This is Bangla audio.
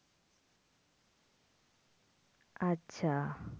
আচ্ছা